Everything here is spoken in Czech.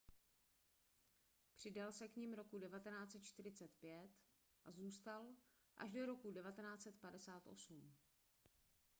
přidal se k nim roku 1945 a zůstal až do roku 1958